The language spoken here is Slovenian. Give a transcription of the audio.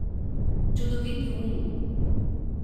Čudoviti um.